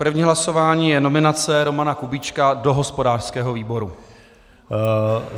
První hlasování je nominace Romana Kubíčka do hospodářského výboru.